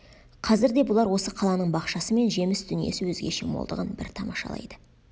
қазір де бұлар осы қаланың бақшасы мен жеміс дүниесі өзгеше молдығын бір тамашалайды